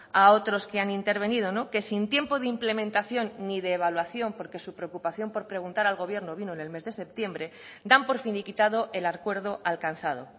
a otros que han intervenido que sin tiempo de implementación ni de evaluación porque su preocupación por preguntar al gobierno vino en el mes de septiembre dan por finiquitado el acuerdo alcanzado